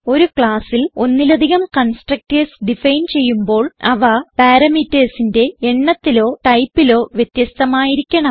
ഒരു classൽ ഒന്നിലധികം കൺസ്ട്രക്ടർസ് ഡിഫൈൻ ചെയ്യുമ്പോൾ അവ parametersന്റെ എണ്ണത്തിലോ ടൈപ്പിലോ വ്യത്യസ്ഥമായിരിക്കണം